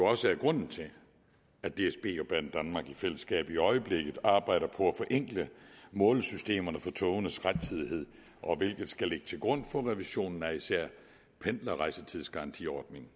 også er grunden til at dsb og banedanmark i fællesskab i øjeblikket arbejder på at forenkle målesystemerne for togenes rettidighed hvilket skal ligge til grund for revisionen af især pendlerrejsetidsgarantiordningen